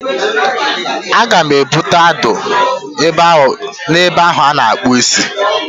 Aga m ebute adụ na ebe ahụ a na-akpụ isi